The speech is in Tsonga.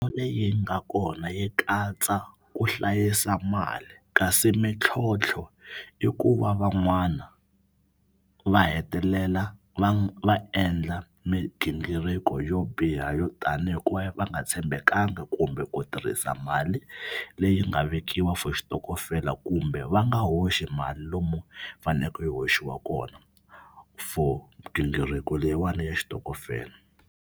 Leyi nga kona yi katsa ku hlayisa mali kasi mintlhontlho i ku va van'wana va hetelela va va endla migingiriko yo biha yo tanihi hikuva va nga tshembekanga kumbe ku tirhisa mali leyi nga vekiwa for xitokofela kumbe va nga hoxi mali lomu fanekele yi hoxiwa kona for gingiriko leyiwani ya xitokofela.